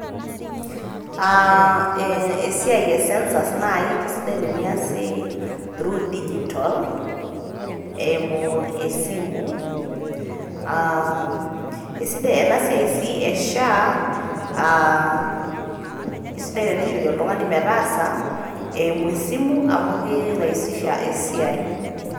Aa esiai e census kisidai teniasi through digital eimu esimu. aa esidai ena siai e sha ee isidai tenishori oltungani metaasa eimu esimu amu kiraisisha esiai.